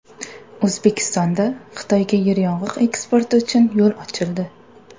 O‘zbekistonda Xitoyga yeryong‘oq eksporti uchun yo‘l ochildi.